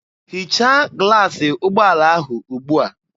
Hichaa glaasị ụgbọala ahụ ugbua!